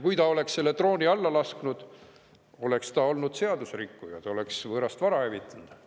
Kui inimene oleks selle drooni alla lasknud, oleks ta olnud seaduserikkuja, ta oleks võõrast vara hävitanud.